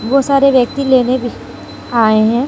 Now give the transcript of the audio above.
ओ सारे व्यक्ति लेने भी आए है।